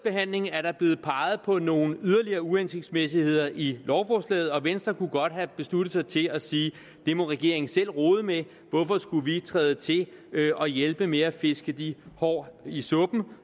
er der blevet peget på nogle yderligere uhensigtsmæssigheder i lovforslaget og venstre kunne godt have besluttet sig til at sige det må regeringen selv rode med hvorfor skulle vi træde til og hjælpe med at fiske de hår i suppen